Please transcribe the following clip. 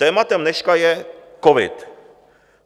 Tématem dneška je covid.